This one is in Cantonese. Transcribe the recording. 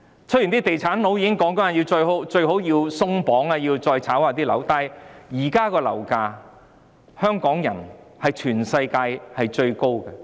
雖然地產商都說最好要"鬆綁"，要把樓市再"炒"一下，但香港現時的樓價已是全世界最高。